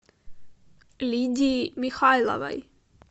лидии михайловой